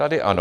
Tady ano.